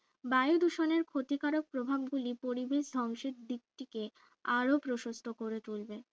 বায়ু দূষণের ক্ষতিকারক প্রভাব গুলি পরিবেশ ধ্বংসের দিক টিকে আরো প্রশস্ত করে তুলবে